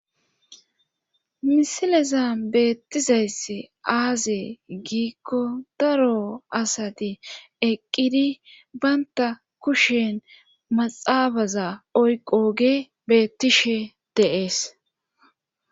misileza beettizayssi aaze giikko daro asati eqqidi banta kushen maxaabaza oyqo ge beettishe deees